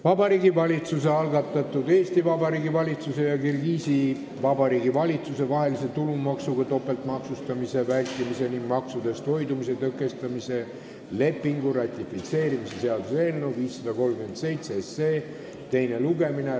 Vabariigi Valitsuse algatatud Eesti Vabariigi valitsuse ja Kirgiisi Vabariigi valitsuse vaheline tulumaksudega topeltmaksustamise vältimise ning maksudest hoidumise tõkestamise lepingu ratifitseerimise seaduse eelnõu 537 teine lugemine.